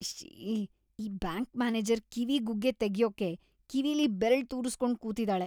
ಇಶ್ಶೀ.. ಈ bank manager ಕಿವಿ ಗುಗ್ಗೆ ತೆಗ್ಯೋಕೆ ಕಿವಿಲಿ ಬೆರ್ಳ್‌ ತೂರುಸ್ಕೊಂಡ್ ಕೂತಿದಾಳೆ.